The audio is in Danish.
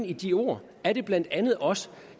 i de ord er det blandt andet også